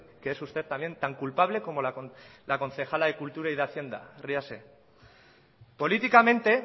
que es usted también tan culpable como la concejala de cultura y de hacienda ríase políticamente